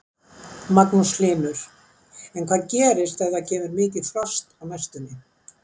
Magnús Hlynur: En hvað gerist ef það kemur mikið frost á næstunni?